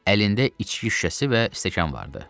Əlində içki şüşəsi və stəkan vardı.